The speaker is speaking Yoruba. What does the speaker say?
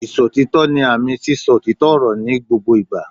Ìsòtítọ́ ni àmì sí sọ òtítọ́ ọ̀rọ̀ ní gbogbo ìgbà